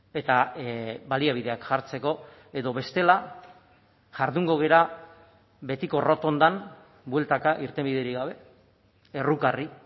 eta baliabideak jartzeko edo bestela jardungo gara betiko errotondan bueltaka irtenbiderik gabe errukarri